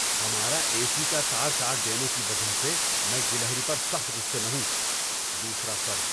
ہمارا A C کا تار کاٹ دینے کی وجہ سے میں گلہری پر سخت غصے میں ہوں۔ (دوسرا فرد)